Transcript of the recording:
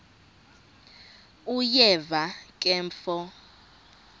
uyeva ke mfo